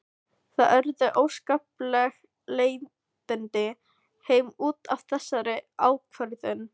Það urðu óskapleg leiðindi heima út af þessari ákvörðun.